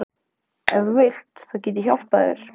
Ef þú vilt. þá get ég kannski hjálpað þér.